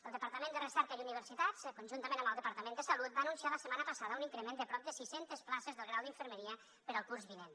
el departament de recerca i universitats conjuntament amb el departament de salut va anunciar la setmana passada un increment de prop de sis centes places del grau d’infermeria per al curs vinent